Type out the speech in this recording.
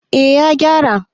eh ya gyara